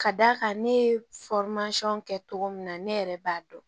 Ka d'a kan ne ye kɛ cogo min na ne yɛrɛ b'a dɔn